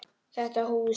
Þetta hús?